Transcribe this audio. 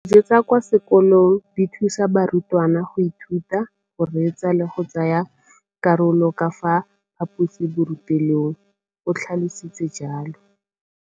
Dijo tsa kwa sekolong dithusa barutwana go ithuta, go reetsa le go tsaya karolo ka fa phaposiborutelong, o tlhalositse jalo.